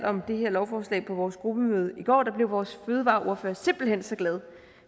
om det her lovforslag på vores gruppemøde i går blev vores fødevareordfører simpelt hen så glad